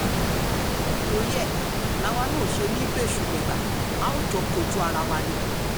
torí ẹ̀ làwa náà ò ṣe ní í bẹ́ṣù bẹ́gbà a ò jọ kojú ara wa ni o